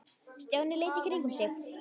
Stjáni leit í kringum sig.